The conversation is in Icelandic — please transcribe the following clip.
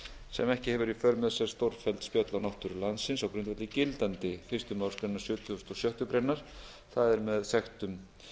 sem ekki hefur í för með sér stórfelld spjöll á náttúru landsins á grundvelli gildandi fyrstu málsgrein sjötugustu og sjöttu grein það er með sektum